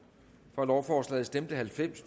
for lovforslaget stemte halvfems